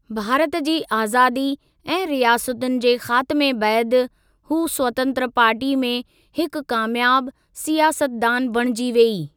भारत जी आज़ादी ऐं रियासतुनि जे ख़ातमे बैदि, हू स्वतंत्र पार्टी में हिकु कामयाबु सियासतदान बणिजी वेई।